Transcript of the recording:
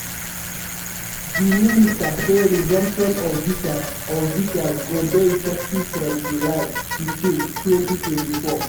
di minister say resumption of visas of visas go dey effective from july 15 2024.